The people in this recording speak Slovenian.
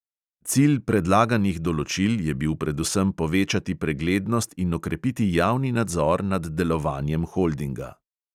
Cilj predlaganih določil je bil predvsem povečati preglednost in okrepiti javni nadzor nad delovanjem holdinga.